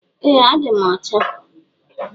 Eeh adim ọcha.